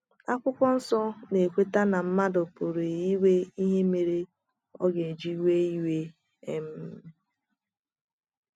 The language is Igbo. akwụkwo nsọ na - ekweta na mmadụ pụrụ inwe ihe mere ọ ga - eji wee iwe. um